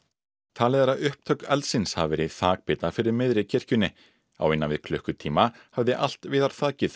talið er að upptök eldsins hafi verið í þakbita fyrir miðri kirkjunni á innan við klukkutíma hafði allt viðarþakið